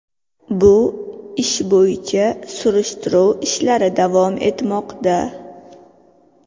Bu ish bo‘yicha surishtiruv ishlari davom etmoqda.